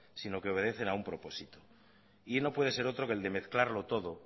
sino que obedecen a un propósito y no puede ser otro que el de mezclarlo todo